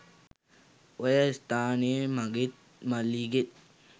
ඔය ස්‌ථානයේ මගේත් මල්ලිගේත්